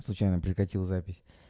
случайно прекратил запись